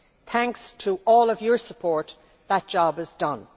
Thanks to all of your support, that job is done.